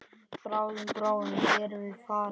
Bráðum, bráðum erum við farin.